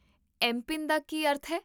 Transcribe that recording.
M PIN ਦਾ ਕੀ ਅਰਥ ਹੈ?